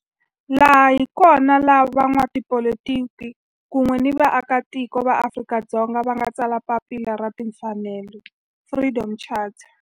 Laha hi kona la van'watipolitiki kun'we ni vaaka tiko va Afrika-Dzonga va nga tsala papila ra timfanelo, Freedom Charter.